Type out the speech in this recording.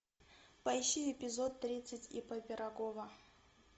поищи эпизод тридцать ип пирогова